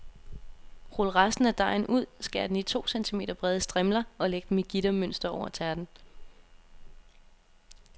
Rul resten af dejen ud, skær den i to centimeter brede strimler og læg dem i gittermønster over tærten.